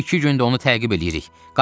İki gündür onu təqib eləyirik.